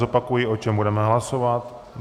Zopakuji, o čem budeme hlasovat.